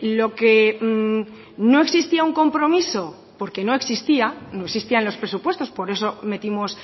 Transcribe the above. lo que no existía un compromiso porque no existía no existían los presupuestos por eso metimos